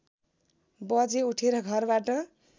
बजे उठेर घरबाट